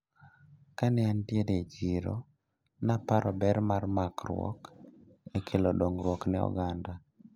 Kane antiere e chiro naparo ber makruok e kelo dongruok ne oganda.